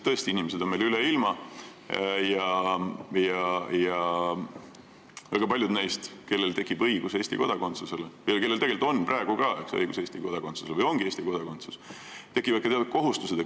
Tõesti, inimesed on meil üle ilma laiali ja väga paljudel neist, kellel tekib või juba praegu on õigus Eesti kodakondsusele või kellel juba ongi Eesti kodakondsus, tekivad ka teatud kohustused.